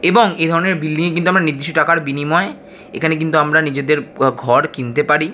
এবং এই ধরণের বিল্ডিং আমরা নিচ্ছি টাকার বিনিময় এখানে আমরা কিন্তু ঘর কিনতে পারি।